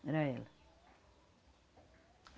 Era ela.